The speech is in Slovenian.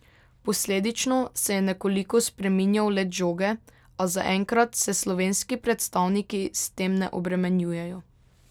Posledično se je nekoliko spreminjal let žoge, a zaenkrat se slovenski predstavniki s tem ne obremenjujejo.